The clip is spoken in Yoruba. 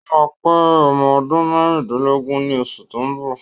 Ó máa pé ọmọ ọdún márùndínlógún ní osù tó ń bọ̀